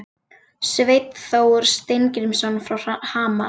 Sveinn Þór Steingrímsson frá Hamar